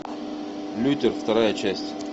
лютер вторая часть